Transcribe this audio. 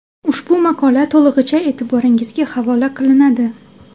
Ushbu maqola to‘lig‘icha e’tiboringizga havola qilinadi.